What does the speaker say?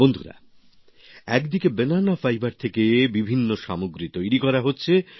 বন্ধুরা একদিকে banana fibre থেকে বিভিন্ন সামগ্রী তৈরি করা হচ্ছে